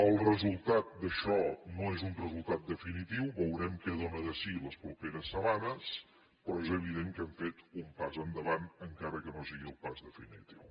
el resultat d’això no és un resultat definitiu veurem què dóna de si les properes setmanes però és evident que hem fet un pas endavant encara que no sigui el pas definitiu